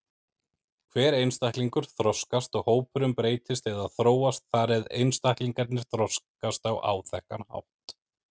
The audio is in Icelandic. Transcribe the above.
Hver einstaklingur þroskast og hópurinn breytist eða þróast þar eð einstaklingarnir þroskast á áþekkan hátt.